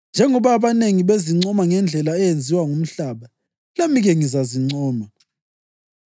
Njengoba abanengi bezincoma ngendlela eyenziwa ngumhlaba, lami-ke ngizazincoma.